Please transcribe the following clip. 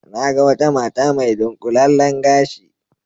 Na ga wata mata mai dunƙulallen gashi